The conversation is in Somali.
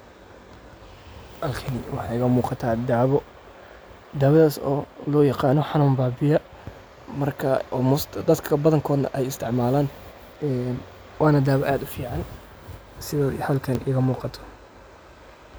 Halkani waxa igamugata dawa dawadas oo loagano hanun babiiya, dadka badanka ay isticmalan een wana dawaa aad ufican sidha xalkan igamugata.